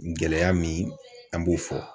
Gɛlɛya min an b'o fɔ